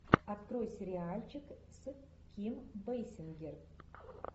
открой сериальчик с ким бейсингер